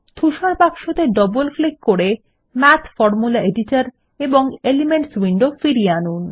ধূসর বাক্সতে double click করে মাথ ফরমুলা এডিটর এবং এলিমেন্টস উইন্ডো ফিরিয়ে আনুন